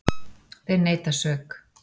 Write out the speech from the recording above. Þeir neita sök.